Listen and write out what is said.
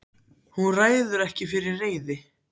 Hún ræður sér ekki fyrir reiði.